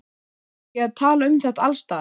Eigum við ekki að tala um þetta alls staðar?